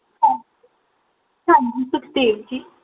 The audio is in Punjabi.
ਹਾਂਜੀ ਸੁਖਦੇਵ ਜੀ